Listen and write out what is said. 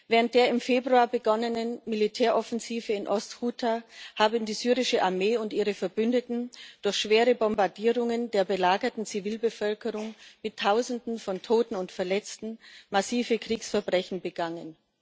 Während der im Februar begonnenen Militäroffensive in Ost Ghuta haben die syrische Armee und ihre Verbündeten durch schwere Bombardierungen der belagerten Zivilbevölkerung mit Tausenden von Toten und Verletzten massive Kriegsverbrechen begangen.